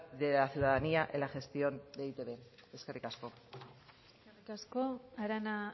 de la ciudadanía en la gestión de e i te be eskerrik asko eskerrik asko arana